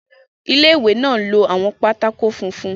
Ilé-ìwé náà ń lo àwọn pátákó funfun.